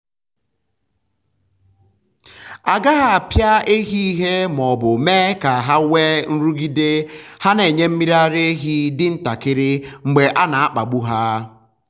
a gaghị apịa ehi ìhè ma ọ bụ mee ka ha nwee nrụgide — ha na-enye mmiri ara ehi dị ntakịrị mgbe a na-akpagbu ha.